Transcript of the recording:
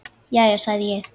Já, já, sagði ég.